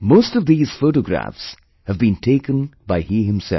Most of these photographs have been taken by he himself